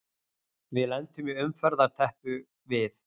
Við lentum í umferðarteppu við